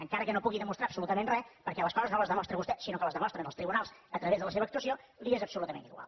encara que no pugui demostrar absolutament re perquè les coses no les demostra vostè sinó que les demostren els tribunals a través de la seva actuació li és absolutament igual